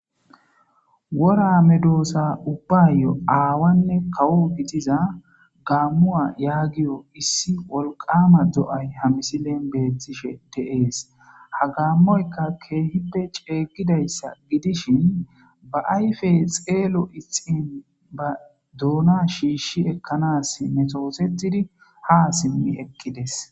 wora medoossa ubbayo aawanne kawo gidiza gaammu7a yaagiyo issi wolqama do7ay hamisilen beettishe te7ees hagammoyka keehibe ceeygidayssa gidishin ba ayfe xeelo ixin ba doona shiishi ekkanas metoosetidi ha simmi ekkides